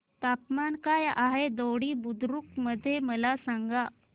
तापमान काय आहे दोडी बुद्रुक मध्ये मला सांगा